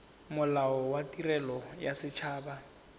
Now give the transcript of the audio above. molao wa tirelo ya set